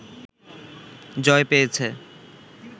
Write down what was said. জয় পেয়েছে